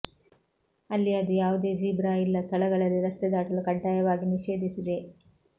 ಅಲ್ಲಿ ಅದು ಯಾವುದೇ ಜೀಬ್ರಾ ಇಲ್ಲ ಸ್ಥಳಗಳಲ್ಲಿ ರಸ್ತೆ ದಾಟಲು ಕಡ್ಡಾಯವಾಗಿ ನಿಷೇಧಿಸಿದೆ